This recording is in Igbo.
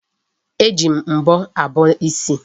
E ji mbọ abọ isi.